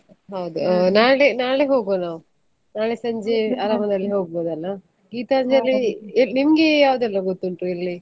ಹೌದು ನಾಳೆ ನಾಳೆ ಹೋಗ್ವ ನಾವು ನಾಳೆ ಸಂಜೆ ಆರಾಮದಲ್ಲಿ ಹೋಗ್ಬೋದಲ್ಲ, Geethanjali , ನಿಮ್ಗೆ ಯಾವ್ದೆಲ್ಲ ಗೊತ್ತುಂಟು ಇಲ್ಲಿ?